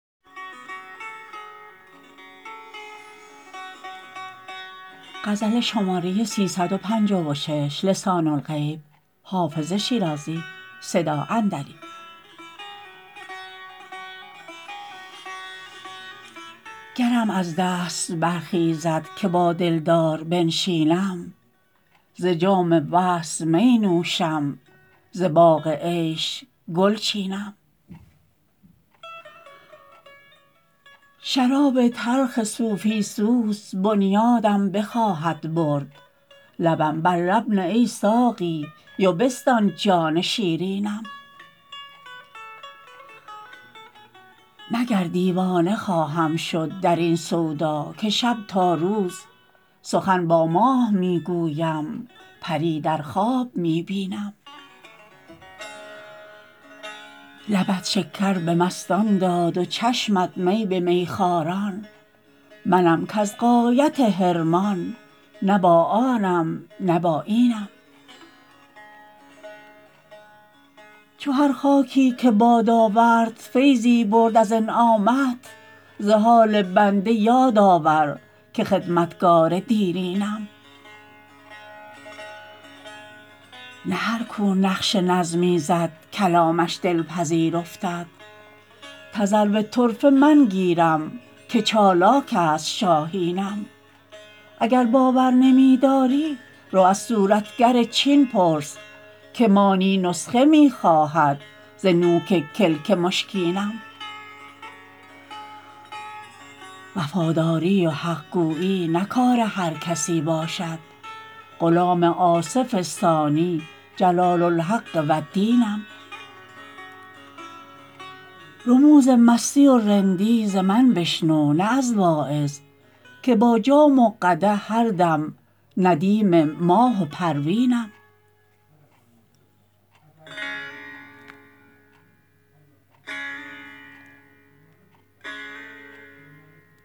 گرم از دست برخیزد که با دلدار بنشینم ز جام وصل می نوشم ز باغ عیش گل چینم شراب تلخ صوفی سوز بنیادم بخواهد برد لبم بر لب نه ای ساقی و بستان جان شیرینم مگر دیوانه خواهم شد در این سودا که شب تا روز سخن با ماه می گویم پری در خواب می بینم لبت شکر به مستان داد و چشمت می به میخواران منم کز غایت حرمان نه با آنم نه با اینم چو هر خاکی که باد آورد فیضی برد از انعامت ز حال بنده یاد آور که خدمتگار دیرینم نه هر کو نقش نظمی زد کلامش دلپذیر افتد تذرو طرفه من گیرم که چالاک است شاهینم اگر باور نمی داری رو از صورتگر چین پرس که مانی نسخه می خواهد ز نوک کلک مشکینم وفاداری و حق گویی نه کار هر کسی باشد غلام آصف ثانی جلال الحق و الدینم رموز مستی و رندی ز من بشنو نه از واعظ که با جام و قدح هر دم ندیم ماه و پروینم